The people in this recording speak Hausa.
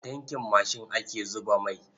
A tankin mashin ake zuba mai.